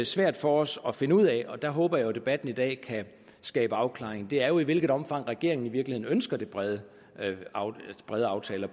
svært for os at finde ud af der håber jeg debatten i dag kan skabe afklaring er i hvilket omfang regeringen i virkeligheden ønsker brede brede aftaler